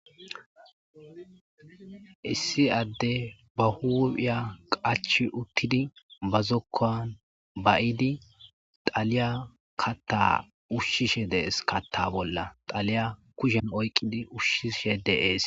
issi adde ba huuphiya qachi uttidi ba zokkan ba'idi taliya katta ushshishe dees katta bolla xaliya kushen oyqqidi ushshishe de'es